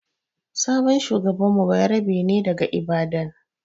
sabon shugaban mu bayarabe ne daga Ibadan.